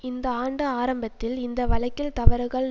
இந்த ஆண்டு ஆரம்பத்தில் இந்த வழக்கில் தவறுகள்